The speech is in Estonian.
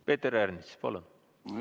Peeter Ernits, palun!